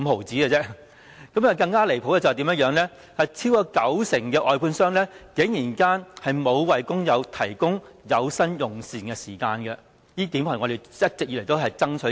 最離譜的是，超過九成外判商沒有為工友提供有薪用膳時間，而這是我們一直以來爭取的。